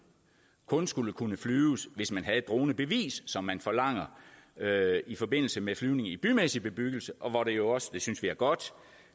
kun skulle kunne flyves hvis man havde et dronebevis som forlanges i forbindelse med flyvning i bymæssig bebyggelse og hvor det også det synes vi er godt